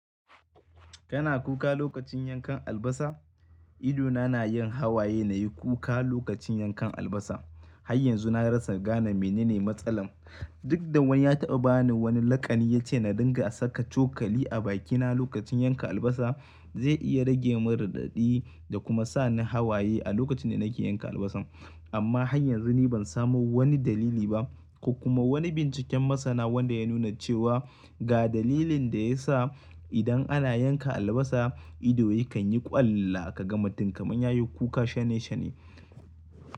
Kana kuka lokacin yankan albasa? Ido na na yin hawaye na yi kuka lokacin yankan albasa. Har yanzu na rasa gane menene matsalan. Duk da wani ya taɓa ba ni wani laƙani ya ce na dinga saka cokali a bakina lokacin yanka albasa. Zai iya rage min raɗaɗi da kuma sa ni hawaye a lokacin da nake yanka albasan. Amma har yanzu ni ban samu wani dalili ba ko kuma wani binciken masana wanda ya nuna cewa ga dalilin da ya sa idan ana yanka albasa ido ya kan yi ƙwalla kaga matum kaman ya yi kuka shane-shane.